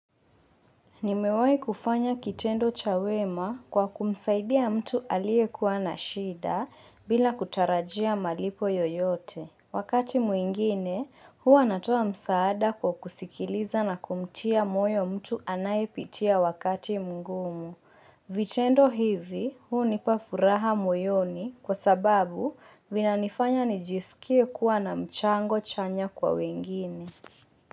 Nimewahi kufanya kitendo cha wema kwa kumsaidia mtu aliye kuwa na shida bila kutarajia malipo yoyote. Wakati mwingine, huwa natoa msaada kwa kusikiliza na kumtia moyo mtu anayepitia wakati mngumu. Vitendo hivi, hunipa furaha moyoni kwa sababu vinanifanya nijisikie kuwa na mchango chanya kwa wengine.